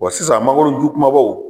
sisan mngoro ko